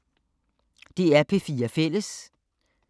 DR P4 Fælles